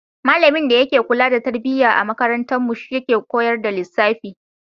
Malamin da yake kula da tarbiyya a makarantarmu shi yake koyar da lissafi.